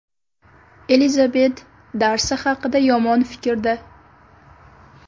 Elizabet Darsi haqida yomon fikrda.